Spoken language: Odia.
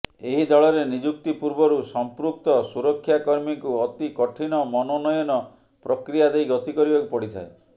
ଏହି ଦଳରେ ନିଯୁକ୍ତି ପୂର୍ବରୁ ସମ୍ପୃକ୍ତ ସୁରକ୍ଷାକର୍ମୀଙ୍କୁ ଅତି କଠିନ ମନୋନୟନ ପ୍ରକ୍ରିୟା ଦେଇ ଗତି କରିବାକୁ ପଡିଥାଏ